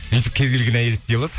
үйтіп кез келген әйел істей алады